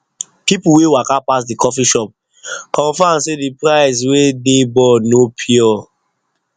people wey waka pass the coffee shop confirm say the price wey dey board no pure